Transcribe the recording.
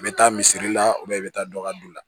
N bɛ taa misiri la i bɛ taa dɔ ka don la